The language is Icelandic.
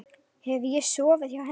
Hef ég sofið hjá henni?